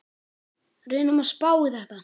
Reynum að spá í þetta.